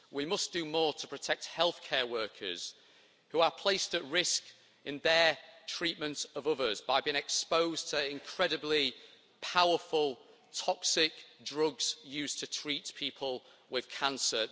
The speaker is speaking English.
We must do more to protect healthcare workers who are placed at risk in their treatment of others by being exposed to incredibly powerful toxic drugs used to treat people with cancer.